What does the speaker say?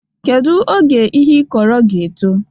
Kedu oge ihe ịkọrọ ga-eto?